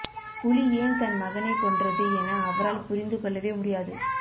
புலி ஏன் தன் மகனைக் கொன்றது என அவரால் புரிந்து கொள்ளவே முடியாது